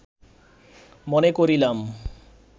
মনে করিলাম